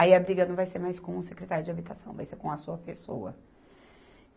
Aí a briga não vai ser mais com o secretário de habitação, vai ser com a sua pessoa.